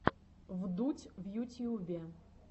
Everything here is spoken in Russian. вдудь в ютьюбе